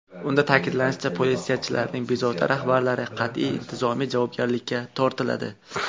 Unda ta’kidlanishicha, politsiyachining bevosita rahbarlari qat’iy intizomiy javobgarlikka tortiladi.